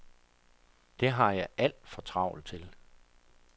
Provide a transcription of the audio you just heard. Det har jeg alt for travlt til.